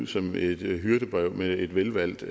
som et hyrdebrev med et velvalgt